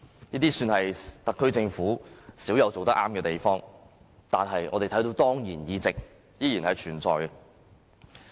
這算是特區政府少有的正確行動，但我們看到當然議席依然存在。